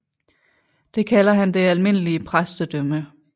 Det kalder han det almindelige præstedømme